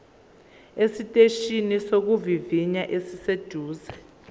esiteshini sokuvivinya esiseduze